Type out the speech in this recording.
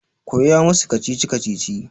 Koya masu kacici-kacici!